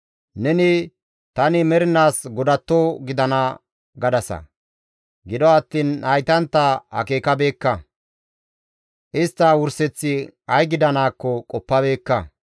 Neni, ‹Tani mernaas godatto gidana› gadasa. Gido attiin haytantta akeekabeekka; istta wurseththi ay gidanaakko qoppabeekka.